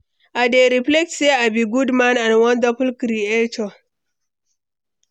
i dey reflect say i be good man and wonderful creature.